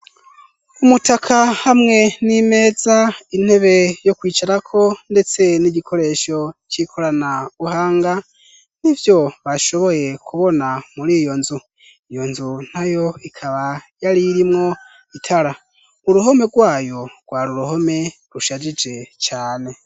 Umutaka hamwe n'imeza intebe yo kwicarako ndetse n'igikoresho c'ikorana buhanga nivyo bashoboye kubona muri iyo nzu, iyo nzu nayo ikaba yari irimwo itara uruhome rwayo rwari uruhome rushajije cane.